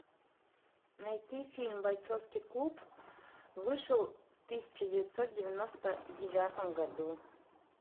найти фильм бойцовский клуб вышел в тысяча девятьсот девяносто девятом году